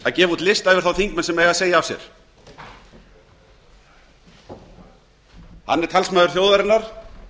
gefa út lista yfir þá þingmenn sem eigi að segja af sér hann er talsmaður þjóðarinnar